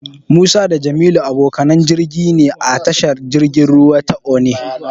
Musa da Jamilu abokanan jirgi ne a tashar jirgin ruwa ta Onne.